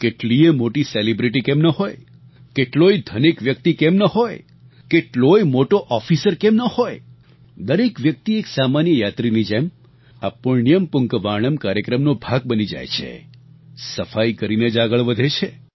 કેટલીયે મોટી સેલિબ્રિટી કેમ ન હોય કેટલોય ધનિક વ્યક્તિ કેમ ન હોય કેટલોય મોટો ઓફિસર કેમ ન હોય દરેક વ્યક્તિ એક સામાન્ય યાત્રીની જેમ આ પુણ્યમ પુન્કવાણમ કાર્યક્રમનો ભાગ બની જાય છે સફાઈ કરીને જ આગળ વધે છે